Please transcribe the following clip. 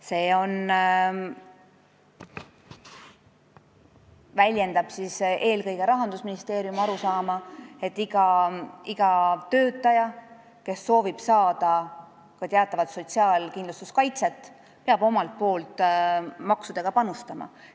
See väljendab eelkõige Rahandusministeeriumi arusaama, et iga töötaja, kes soovib saada teatavat sotsiaalkindlustuskaitset, peab omalt poolt maksudega panustama.